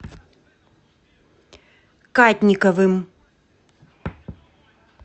кадниковым